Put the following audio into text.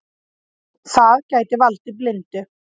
Það gæti valdið blindu.